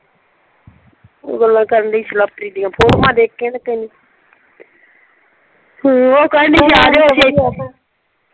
ਉਹ ਗੱਲਾਂ ਕਰਨ ਡਈ ਸੀ ਲਵਪ੍ਰੀਤ ਦੀਆਂ ਫੋਟਵਾਂ ਦੇਖੀਆਂ ਨਾ ਕਈ ਹਮ ਉਹ ਕਹਿੰਦੀ ਸੀ ਆ ਜਾਇਓ .